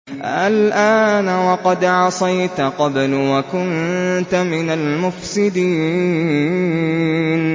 آلْآنَ وَقَدْ عَصَيْتَ قَبْلُ وَكُنتَ مِنَ الْمُفْسِدِينَ